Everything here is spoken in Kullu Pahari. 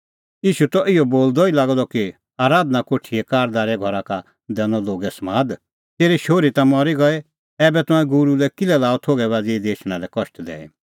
ईशू त इहअ बोलदअ ई लागअ द कि आराधना कोठीए कारदारे घरा का दैनअ लोगै समाद तेरी शोहरी ता मरी गई ऐबै तंऐं गूरू लै किल्है लाअ थोघै बाझ़ी इधा लै एछणेंओ कष्ट दैई